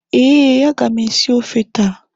Ee, aga m esi ofe taa